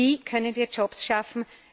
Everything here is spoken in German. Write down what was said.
Wie können wir Jobs schaffen?